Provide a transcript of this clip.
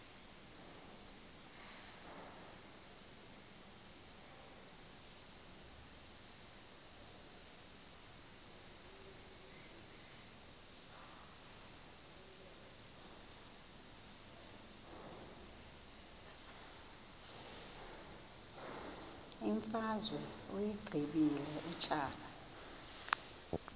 imfazwe uyiqibile utshaba